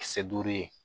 Kisɛ duuru ye